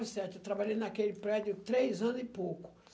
certo. Eu trabalhei naquele prédio três ano e pouco.